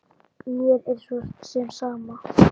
Mér er svo sem sama.